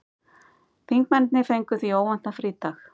Þingmennirnir fengu því óvæntan frídag